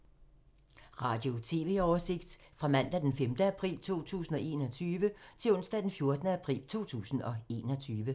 Radio/TV oversigt fra mandag d. 5. april 2021 til onsdag d. 14. april 2021